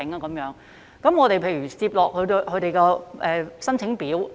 例如我們接獲他們的申請表......